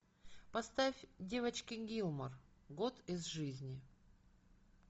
поставь девочки гилмор год из жизни